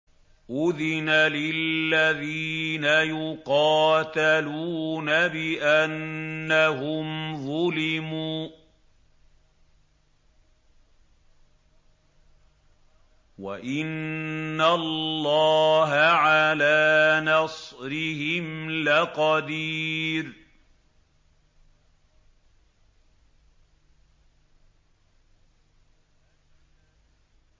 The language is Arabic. أُذِنَ لِلَّذِينَ يُقَاتَلُونَ بِأَنَّهُمْ ظُلِمُوا ۚ وَإِنَّ اللَّهَ عَلَىٰ نَصْرِهِمْ لَقَدِيرٌ